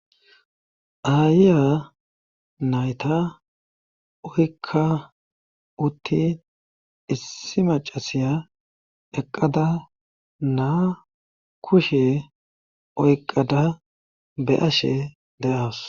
ayya nayta oykka uttin issi macasiya eqqada naa kushe oyqada be ashe de7aas